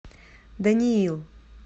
даниил